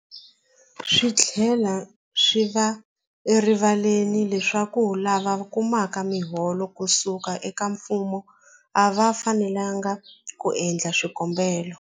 Swi tlhela swi va erivaleni leswaku lava kumaka miholo ku suka eka mfumo a va fanelanga ku endla swikombelo.